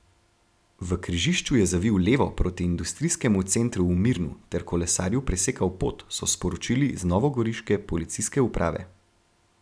V križišču je zavil levo proti industrijskemu centru v Mirnu ter kolesarju presekal pot, so sporočili z novogoriške policijske uprave.